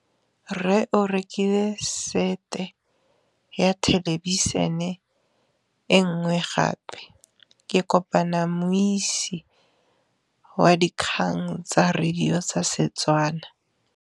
Rre o rekile sete ya thêlêbišênê e nngwe gape. Ke kopane mmuisi w dikgang tsa radio tsa Setswana.